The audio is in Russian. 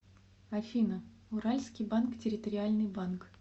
афина уральский банк территориальный банк